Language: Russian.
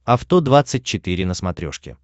авто двадцать четыре на смотрешке